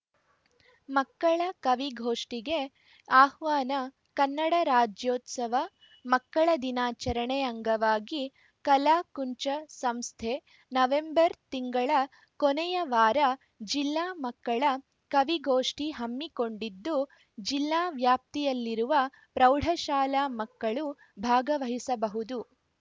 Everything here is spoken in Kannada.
ಮಕ್ಕಳ ಕವಿಗೋಷ್ಠಿಗೆ ಆಹ್ವಾನ ಕನ್ನಡ ರಾಜ್ಯೋತ್ಸವ ಮಕ್ಕಳ ದಿನಾಚರಣೆ ಅಂಗವಾಗಿ ಕಲಾಕುಂಚ ಸಂಸ್ಥೆ ನವೆಂಬರ್‌ ತಿಂಗಳ ಕೊನೆಯ ವಾರ ಜಿಲ್ಲಾ ಮಕ್ಕಳ ಕವಿಗೋಷ್ಠಿ ಹಮ್ಮಿಕೊಂಡಿದ್ದು ಜಿಲ್ಲಾ ವ್ಯಾಪ್ತಿಯಲ್ಲಿರುವ ಪ್ರೌಢಶಾಲಾ ಮಕ್ಕಳು ಭಾಗವಹಿಸಬಹುದು